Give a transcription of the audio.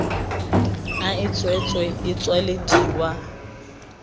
a e tswetswe e tswelediwa